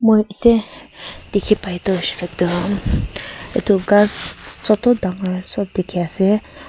yate dikhi pai toh hoishe koile toh itu ghas chotu dangor sob dikhi ase.